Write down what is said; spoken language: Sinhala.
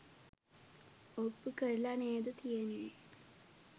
ඔප්පු කරල නේද තියෙන්නේ